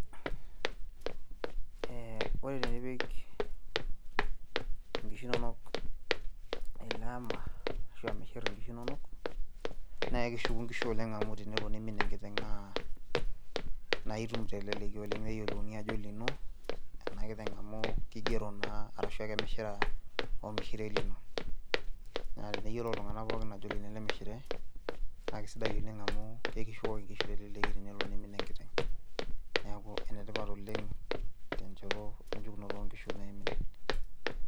Ee ore tenipik nkishu inonok ele ama ashu amishirr inkishu inonok naa keshuku inkishu inonok amu teniimin enkiteng' naa aitum teleleki oleng' neyiolouni ajo olino enakiteng' amu kigero naa arashu ekemishira ormishire lino naa teneyiolou iltung'anak pookin ajo olino ele mishire naa kesidai oleng' amu kishukoki nkishu teleleki tenelo niimin enkiteng' , neeku enetipat oleng' tenchoto enchukunoto onkishu naimin.